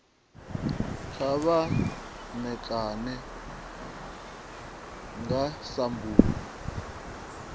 kha vha ṋekane nga sambulu